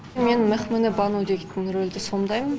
мен мехмене бану деген рөлді сомдаймын